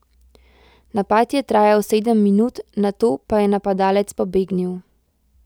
Napad je trajal sedem minut, nato pa je napadalec pobegnil.